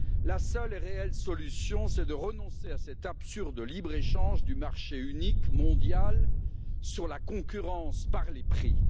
La seule et réelle solution est de renoncer à cet absurde libre-échange du marché unique mondial qui repose sur la concurrence par les prix.